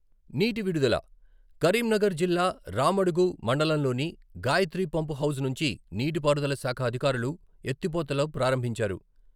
నీటి విడుదల కరీంనగర్ జిల్లా రామడుగు మండలంలోని గాయత్రి పంపుహౌజ్ నుంచి నీటి పారుదల శాఖ అధికారులు ఎత్తిపోతలు ప్రారంభించారు.